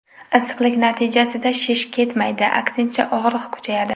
Issiqlik natijasida shish ketmaydi, aksincha og‘riq kuchayadi.